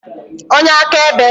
onye akaebe